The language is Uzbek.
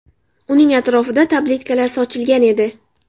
Uning atrofida tabletkalar sochilgan edi.